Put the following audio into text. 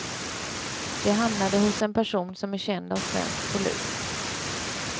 Det hamnade hos en person som är känd av svensk polis.